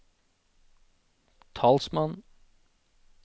talsmann